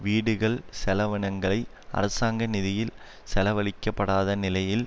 வீடுகள் செலவினங்களை அரசாங்க நிதியில் செலவழிக்கப்படாத நிலையில்